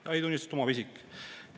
Jahitunnistust omav isik!